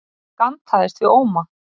Ég gantaðist við Óma.